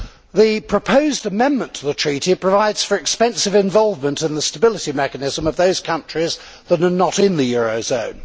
The proposed amendment to the Treaty provides for expensive involvement in the stability mechanism of those countries that are not in the euro area.